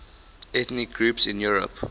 ethnic groups in europe